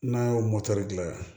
N'an y'o mɔtɛri gilan